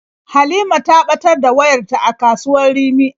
Halima ta ɓatar da wayarta a kasuwar Rimi.